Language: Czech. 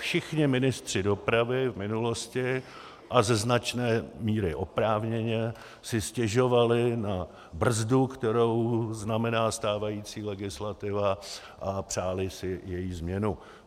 Všichni ministři dopravy v minulosti, a ze značné míry oprávněně, si stěžovali na brzdu, kterou znamená stávající legislativa, a přáli si její změnu.